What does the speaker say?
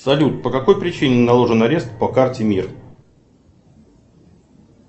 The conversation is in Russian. салют по какой причине наложен арест по карте мир